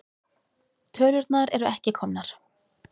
Tölurnar eru ekki komnar.